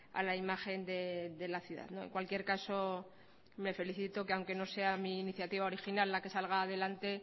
a la imagen de la ciudad en cualquier caso me felicito aunque no sea mi iniciativa original la que salga adelante